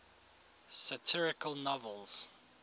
satirical novels